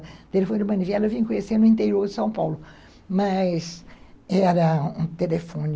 O telefone de manivela eu vim conhecer no interior de São Paulo, mas era um telefone...